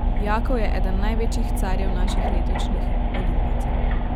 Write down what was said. Jakov je eden največjih carjev naših letošnjih olimpijcev.